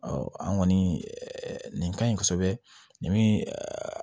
an kɔni nin ka ɲi kosɛbɛ nin